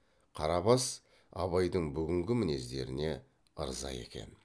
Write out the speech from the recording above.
қарабас абайдың бүгінгі мінездеріне ырза екен